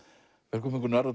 velkominn Gunnar og